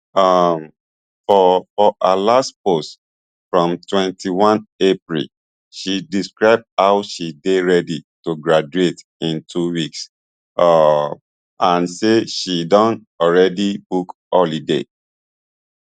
um for for her last post from twenty-one april she describe how she dey ready to graduate in two weeks um and say she don already book holiday